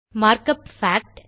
mark up packed